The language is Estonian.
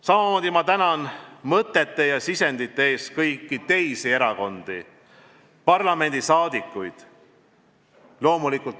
Samamoodi ma tänan mõtete ja sisendite eest ka opositsioonierakondi ja parlamendiliikmeid.